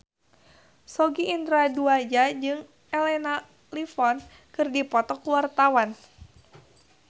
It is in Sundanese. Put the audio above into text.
Sogi Indra Duaja jeung Elena Levon keur dipoto ku wartawan